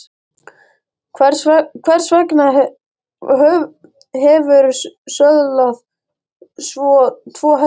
Hvers vegna hefurðu söðlað tvo hesta?